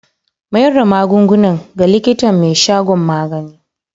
Mayar da magungunan ga likitan mai shagon magani.